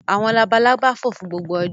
Àwọn labalábá fò fún gbogbo ọjọ́.